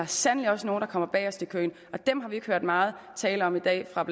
sandelig også nogle der kommer bagest i køen dem har vi ikke hørt meget tale om i dag fra